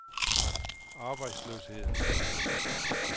arbejdsløsheden